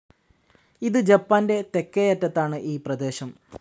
ഇത് ജപ്പാന്റെ തെക്കേയറ്റത്താണ് ഈ പ്രദേശം.